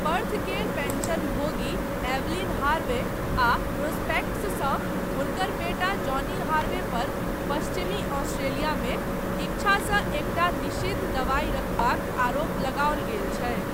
पर्थकेर पेन्शनभोगी Evelyn Harvey, आ प्रोस्पेक्टसँ हुनकर बेटा जॉनी हार्वे पर पश्चिमी ऑस्ट्रेलियामे 'इच्छासँ एकटा निषिद्ध दवाइ रखबाक आरोप लगाओल गेल छै।